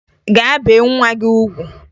Gaa bee nwa gị ugwu!